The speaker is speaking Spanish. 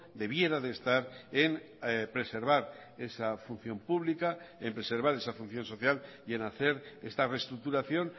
debiera de estar en preservar esa función pública en preservar esa función social y en hacer esta reestructuración